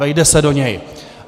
Vejde se do něj.